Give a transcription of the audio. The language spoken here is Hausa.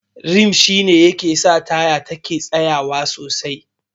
Rim shi ne ke sa taya yake tsayawa sosai.